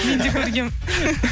мен де көргенмін